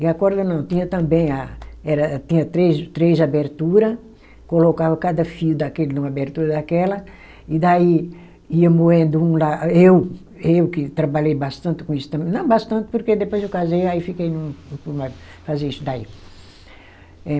E a corda não, tinha também a, era tinha três, três abertura, colocava cada fio daquele numa abertura daquela, e daí ia moendo um lá, eu eu que trabalhei bastante com isso também, não bastante porque depois eu casei, aí fiquei num, fazer isso daí.